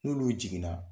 N'olu jiginna